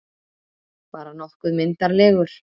Bara nokkuð myndarlegur.